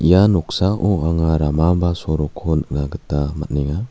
ia noksao anga rama ba sorokko nikna gita man·enga.